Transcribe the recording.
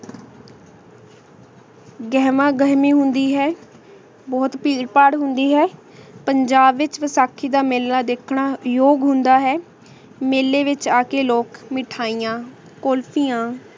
ਗੇਹ੍ਮਾ ਗੇਹ੍ਮੀ ਹੁੰਦੀ ਹੈ ਬੋਹਤ ਭੀਰ ਭਰ ਹੁੰਦੀ ਹੈ ਪੰਜਾਬ ਵਿਚ ਵਸਾਖੀ ਦਾ ਮੀਲ ਦੇਖਣਾ ਯੋਗ ਹੁੰਦਾ ਹੈ ਮੀਲੀ ਵਿਚ ਆ ਕੇ ਲੋਗ ਮਿਠਾਇਯਾਂ ਕੁਲ੍ਫਿਯਾਂ